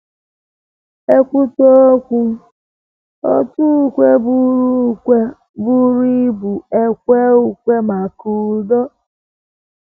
E kwutụ um okwu, um òtù ukwe buru ukwe buru ibu ekwee ukwe maka udo.